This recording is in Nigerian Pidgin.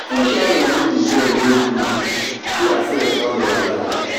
wetin sharon do the boy no good she herself don realise